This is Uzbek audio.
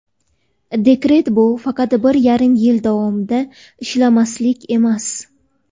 Dekret bu faqat bir yarim yil davomida ishlamaslik emas.